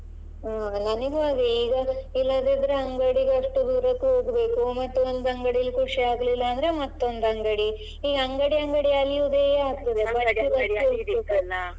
ಹಾ ನನಿಗೂ ಹಾಗೆ ಈಗ ಇಲ್ಲದಿದ್ರೆ ಅಂಗಡಿಗೆ ಅಷ್ಟು ದೂರಕ್ಕೂ ಹೋಗ್ಬೇಕು ಮತ್ತೊಂದು ಅಂಗಡಿಯಲ್ಲಿ ಖುಷಿಯಾಗ್ಲಿಲ್ಲ ಅಂದ್ರೆ ಮತ್ತೊಂದು ಅಂಗಡಿ ಈ ಅಂಗಡಿ ಅಂಗಡಿ ಅಲೆಯುದೇ ಆಗ್ತದೆ.